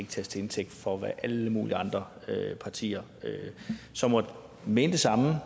tages til indtægt for hvad alle mulige andre partier som måtte mene det samme